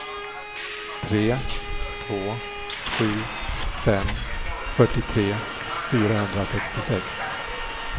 tre två sju fem fyrtiotre fyrahundrasextiosex